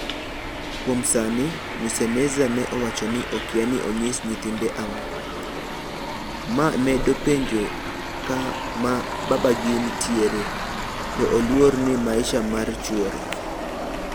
Kuom sani Mwiseneza ne owacho ni okia ni onyis nyithinde ang'o. ma medo penje kama babagi nitiere. to oluor ni maisha mar chuore